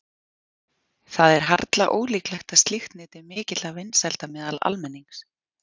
Það er harla ólíklegt að slíkt nyti mikilla vinsælda meðal almennings.